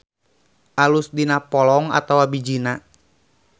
Alus dina polong atawa bijina.